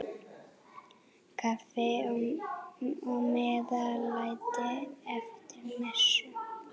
Kaffi og meðlæti eftir messu.